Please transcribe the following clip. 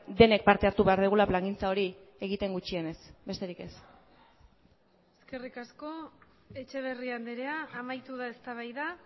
denek parte hartu behar dugula plangintza hori egiten gutxienez besterik ez eskerrik asko etxeberria andrea amaitu da eztabaida